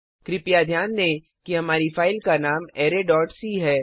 कृपया ध्यान दें कि हमारी फ़ाइल का नाम arrayसी है